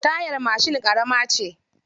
Tayar mashin ƙarama ce.